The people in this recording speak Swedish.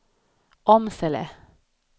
Åmsele